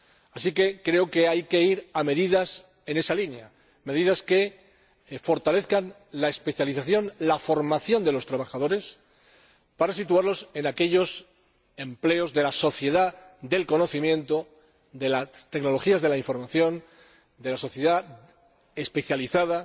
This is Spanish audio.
Así que hay que avanzar hacia medidas en esa línea, medidas que fortalezcan la especialización, la formación de los trabajadores, para situarlos en aquellos empleos de la sociedad del conocimiento, de las tecnologías de la información, de la sociedad especializada,